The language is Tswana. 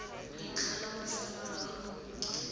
letlha la bofelo la go